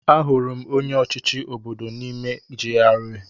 Ahụrụ m onye ọchịchị obodo m n'ime GRA.